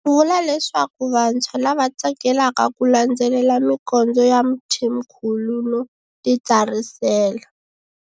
U vula leswaku vantshwa lava tsakelaka ku landzelela mikondzo ya Mthimkhulu no titsarisela.